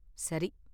சரி.